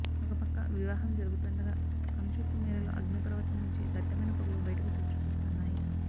ఒకపక్క వివాహం జరుగుతుండగా కనుచూపు మేరలో అగ్నిపర్వతం నుంచి దట్టమైన పొగలు బయటకు చొచ్చుకొస్తున్నాయి